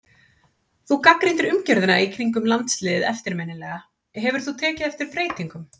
Þú gagnrýndir umgjörðina í kringum landsliðið eftirminnilega, hefur þú tekið eftir breytingum?